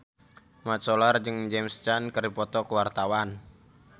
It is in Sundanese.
Mat Solar jeung James Caan keur dipoto ku wartawan